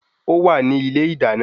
Ówà ní ilé idana